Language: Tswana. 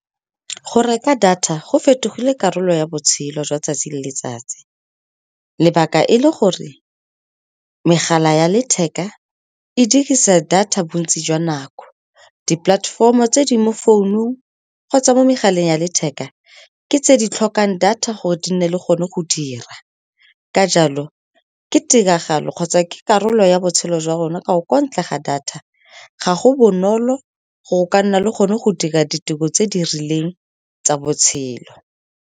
Go reka data go fetogile karolo ya botshelo jwa 'tsatsi le letsatsi, lebaka e le gore megala ya letheka e dirisa data bontsi jwa nako. Di-platform-o tse di mo founung kgotsa mo megaleng ya letheka ke tse di tlhokang data gore di nne le gone go dira. Ka jalo, ke tiragalo kgotsa ke karolo ya botshelo jwa rona, ka gonne kwa ntle ga data ga go bonolo go ka nna le gone go dira ditiro tse di rileng tsa botshelo.